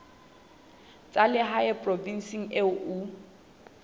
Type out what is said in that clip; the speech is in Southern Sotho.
tsa lehae provinseng eo o